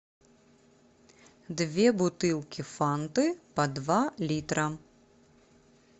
две бутылки фанты по два литра